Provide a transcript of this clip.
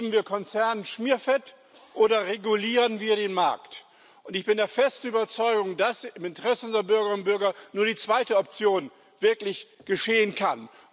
Geben wir Konzernen Schmierfett, oder regulieren wir den Markt? Ich bin der festen Überzeugung, dass im Interesse unserer Bürgerinnen und Bürger nur die zweite Option wirklich geschehen kann.